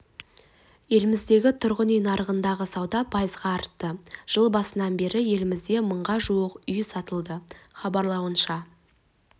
еліміздегі тұрғын үй нарығындағы сауда пайызға артты жыл басынан бері елімізде мыңға жуық үй сатылды хабарлауынша